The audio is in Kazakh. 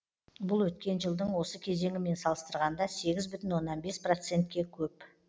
бұл өткен жылдың осы кезеңімен салыстырғанда сегіз бүтін оннан бес процентке көп